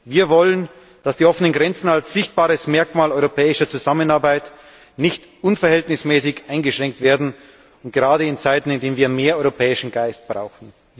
Wir wollen, dass die offenen Grenzen als sichtbares Merkmal europäischer Zusammenarbeit nicht unverhältnismäßig eingeschränkt werden, gerade in Zeiten, in denen wir mehr europäischen Geist brauchen.